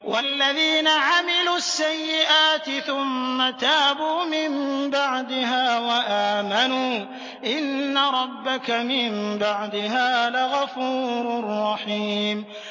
وَالَّذِينَ عَمِلُوا السَّيِّئَاتِ ثُمَّ تَابُوا مِن بَعْدِهَا وَآمَنُوا إِنَّ رَبَّكَ مِن بَعْدِهَا لَغَفُورٌ رَّحِيمٌ